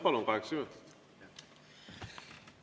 Palun, kaheksa minutit!